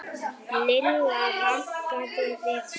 Lilla rankaði við sér.